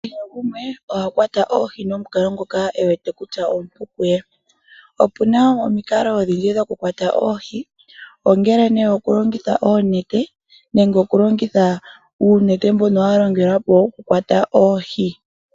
Kehe gumwe oha kwata oohi momukalo ngoka e wete kutya omupu kuye. Opuna omikalo odhindji dhokukwata oohi ngaashi okulongitha oonete nenge oku yula oohi nuundjolo.